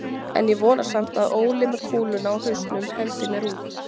En ég vona samt að Óli með kúluna á hausnum hendi mér út.